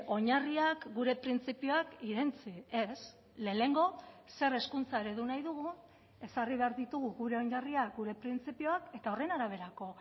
oinarriak gure printzipioak irentsi ez lehenengo zer hezkuntza eredu nahi dugu ezarri behar ditugu gure oinarriak gure printzipioak eta horren araberako